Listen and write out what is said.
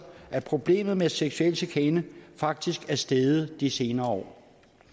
at problemet med seksuel chikane faktisk er steget de senere år